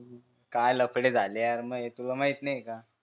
काय लफडे झाले यार महे तुल माहित नाही का